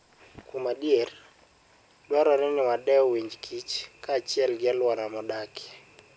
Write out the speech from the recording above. Kuom adier, dwarore ni wadew winj kich kaachiel gi alwora modakie.